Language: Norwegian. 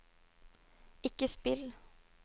ikke spill